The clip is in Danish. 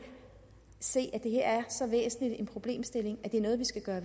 se at det her er så væsentlig en problemstilling at det er noget vi skal gøre